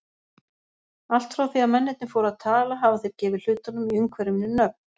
Allt frá því að mennirnir fóru að tala hafa þeir gefið hlutunum í umhverfinu nöfn.